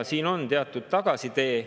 Siin on teatud tagasitee.